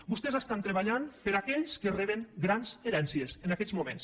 vostès estan treballant per a aquells que reben grans herències en aquests moments